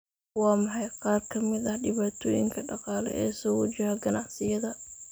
Waa maxay qaar ka mid ah dhibaatooyinka dhaqaale ee soo wajaha ganacsiyada?